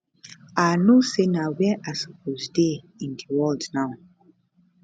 i know say na where i supposed dey in di world now